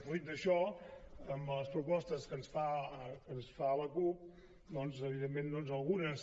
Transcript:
fruit d’això amb les propostes que ens fa la cup doncs evidentment algunes